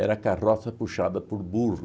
carroça puxada por burro.